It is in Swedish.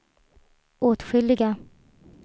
åtskilliga